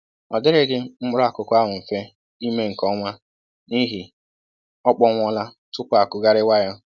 Ọ dịrịghị mkpụrụ akụkụ ahụ mfe ime nke ọma n'ihi ọ kpụnwụọla tupu a kụgharịwa ya